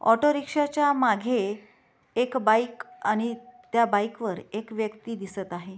Auto रीक्षाच्या माघे एक बाइक आणि त्या बाइक वर एक व्यक्ति दिसत आहे.